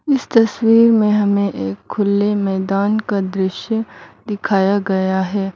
इस तस्वीर मे हमे एक खुले मैदान का दृश्य दिखाया गया है।